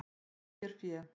Dró sér fé